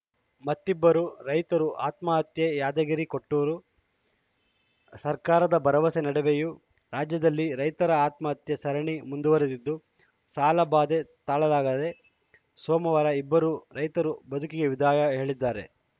ಮತ್ತಿಬ್ಬರು ರೈತರು ಆತ್ಮಹತ್ಯೆ ಯಾದಗಿರಿಕೊಟ್ಟೂರು ಸರ್ಕಾರದ ಭರವಸೆ ನಡುವೆಯೂ ರಾಜ್ಯದಲ್ಲಿ ರೈತರ ಆತ್ಮಹತ್ಯೆ ಸರಣಿ ಮುಂದುವರೆದಿದ್ದು ಸಾಲಬಾಧೆ ತಾಳಲಾಗ ದೆ ಸೋಮವಾರ ಇಬ್ಬರು ರೈತರು ಬದುಕಿಗೆ ವಿದಾಯ ಹೇಳಿದ್ದಾರೆ